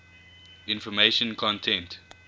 information content